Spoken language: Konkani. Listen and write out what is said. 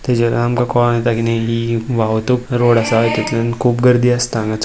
तेजेर आमका कळोन येता कि नी हि वावतूक रोड आसा हितुन खुप गर्दी आसता हांगा --